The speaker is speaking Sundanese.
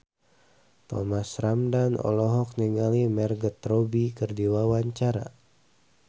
Thomas Ramdhan olohok ningali Margot Robbie keur diwawancara